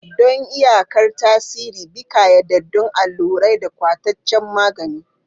Don iyakar tasiri, bi ƙayyadaddun allurai da kwatancen magani.